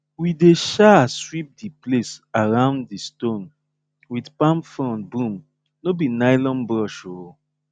we dey um sweep di place around di stone with palm frond broom no be nylon brush um